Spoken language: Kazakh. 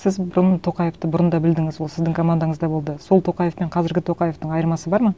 сіз бұрын тоқаевты бұрын да білдіңіз ол сіздің командаңызда болды сол тоқаев пен қазіргі тоқаевтың айырмасы бар ма